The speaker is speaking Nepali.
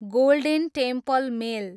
golden Temple mail